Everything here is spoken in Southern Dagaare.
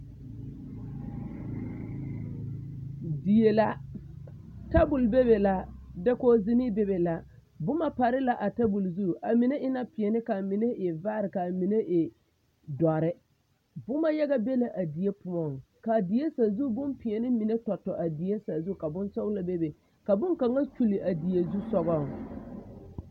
Die la tabol bebe la dakoge zinee bebe la boma pare la a tabol zu a mine e la peɛle kaa mine e vaare kaa mine e dɔre boma yaga be na a die poɔŋ kaa die sazu bonpeɛle mine tɔtɔ a die sazu ka bonsɔglɔ mine bebe ka bonkaŋa kyule a die zusugɔŋ.